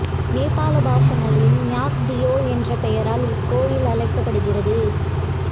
நேபாள பாசா மொழியில் இநாயக் தியோ என்ற பெயரால் இக்கோவில் அழைக்கப்படுகிறது